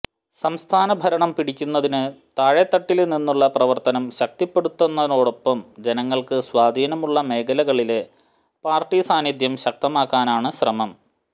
സംസ്ഥാന ഭരണം പിടിക്കുന്നതിനു താഴെ തട്ടില് നിന്നുള്ള പ്രവര്ത്തനം ശക്തിപ്പെടുത്തുന്നതോടൊപ്പം ജനങ്ങള്ക്ക് സ്വാധീനമുള്ള മേഖലകളില് പാര്ട്ടി സാന്നിധ്യം ശക്തമാക്കാനാണ് ശ്രമം